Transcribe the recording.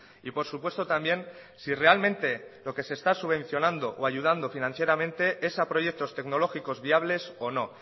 y por supuesto también si realmente lo que se está subvencionando o ayudando financieramente es a proyectos tecnológicos viables o no